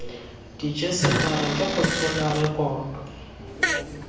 rejisetara ke go tshola rekoto